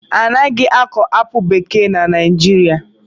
Anaghị akọ apụl bekee na Naijiria